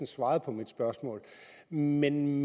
svaret på mit spørgsmål men men